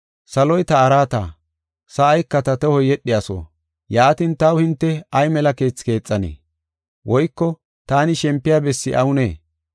“ ‘Saloy ta araata, sa7ika ta tohoy yedhiyaso. Yaatin, taw hinte ay mela keethi keexanee? Woyko taani shempiya bessi awunee?